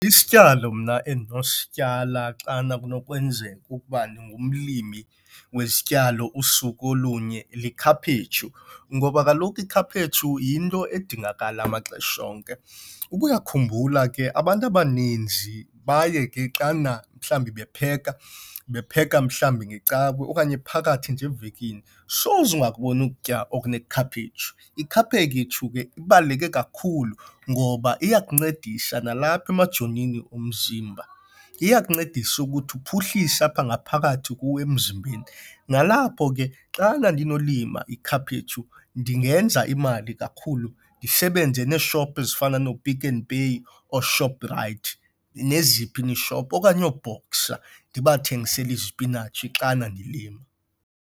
Isityalo mna endinosityala xana kunokwenzeka ukuba ndingumlimi wezityalo usuku olunye likhaphetshu ngoba kaloku ikhaphetshu yinto edingakala maxesha onke. Uba uyakhumbula ke abantu abaninzi baye ke xana mhlawumbi bepheka bepheka mhlawumbi ngeCawe okanye phakathi nje evekini soze ungakuboni ukutya okunekhaphetshu. Ikhaphetshu ke ibaluleke kakhulu ngoba iya ukuncedisa nalapha emajonini omzimba. Iyakuncedisa ukuthi uphuhlise apha ngaphakathi kuwo emzimbeni. Nalapho ke xana ndinolima ikhaphetshu ndingenza imali kakhulu ndisebenze neeshopu ezifana nooPick n Pay ooShoprite neziphi na iishop okanye ooBoxer ndibathengisele isipinatshi xana ndilima.